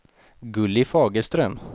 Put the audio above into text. Gulli Fagerström